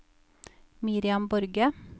Miriam Borge